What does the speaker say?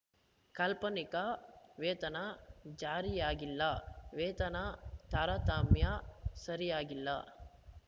ಕಾಲ್ಪನಿಕ ವೇತನ ಜಾರಿಯಾಗಿಲ್ಲ ವೇತನ ತಾರತಮ್ಯ ಸರಿಯಾಗಿಲ್ಲ